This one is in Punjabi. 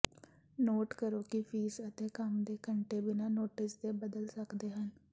ਨੋਟ ਕਰੋ ਕਿ ਫ਼ੀਸ ਅਤੇ ਕੰਮ ਦੇ ਘੰਟੇ ਬਿਨਾਂ ਨੋਟਿਸ ਦੇ ਬਦਲ ਸਕਦੇ ਹਨ